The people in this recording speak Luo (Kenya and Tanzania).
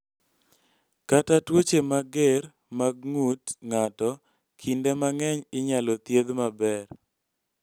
Kata tuoche mager mag ng�ut ng�ato kinde mang�eny inyalo thiedh maber.